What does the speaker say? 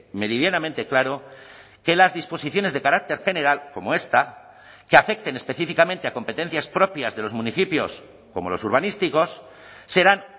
meridianamente claro que las disposiciones de carácter general como esta que afecten específicamente a competencias propias de los municipios como los urbanísticos serán